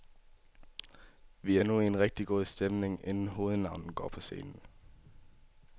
Vi er nu i en rigtig god stemning, inden hovednavnet går på scenen.